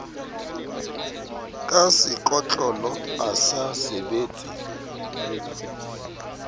ka sekotlolo a sa sebetse